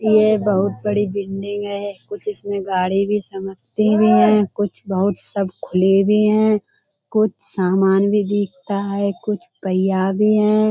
ये बहुत बड़ी बिल्डिंग है। कुछ इसमे गाड़ी भी भी हैं। कुछ बहुत सब खुली भी हैं। कुछ सामान भी दिखता भी है। कुछ भी हैं।